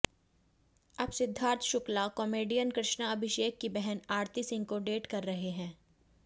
अब सिद्धार्थ शुक्ला कॉमेडियन कृष्णा अभिषेक की बहन आरती सिंह को डेट कर रहे हैं